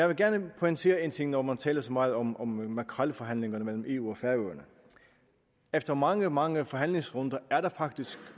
vil gerne pointere én ting når man taler så meget om om makrelforhandlingerne mellem eu og færøerne efter mange mange forhandlingsrunder er der faktisk